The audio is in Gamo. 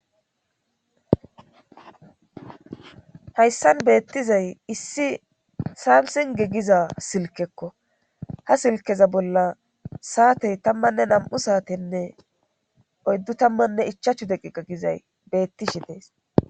hayssan beettizay issi saamisinge giza silkekko ha silkeza bolla saatey tammanne nam'u saatenne oyddu tammanne ichachu deqiqay gizay beettishi dees